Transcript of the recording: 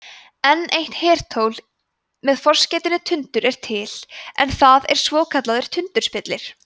enn eitt hertól með forskeytinu tundur er til en það er svokallaður tundurspillir